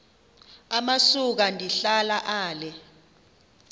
amasuka ndihlala ale